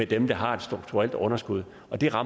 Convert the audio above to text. dem der har et strukturelt underskud og det rammer